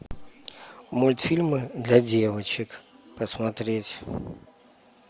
мультфильмы для девочек посмотреть